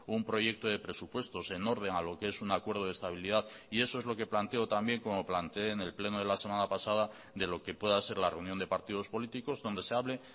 un proyecto de presupuestos en orden a lo que es un acuerdo de estabilidad y eso es lo que planteo también como planteé en el pleno de la semana pasada de lo que pueda ser la reunión de partidos políticos donde se hable